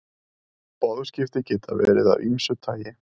boðskipti geta verið af ýmsu tagi